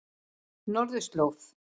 Norðurslóð